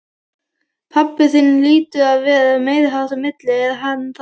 Pabbi þinn hlýtur að vera meiriháttar milli, er hann það?